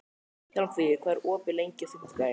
Hjálmfríður, hvað er opið lengi á fimmtudaginn?